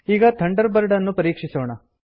ಈಗ ಥಂಡರ್ಬರ್ಡ್ ಅನ್ನು ಪರೀಕ್ಷಿಸೋಣ